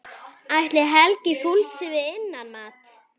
Ætli Helgi fúlsi við innmat?